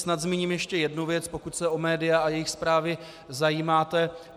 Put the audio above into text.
Snad zmíním ještě jednu věc, pokud se o média a jejich zprávy zajímáte.